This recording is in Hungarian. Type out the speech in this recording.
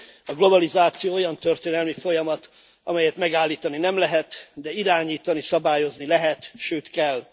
A globalizáció olyan történelmi folyamat, amelyet megállítani nem lehet, de irányítani, szabályozni lehet, sőt kell.